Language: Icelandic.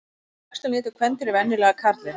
Eftir æxlun étur kvendýrið venjulega karlinn.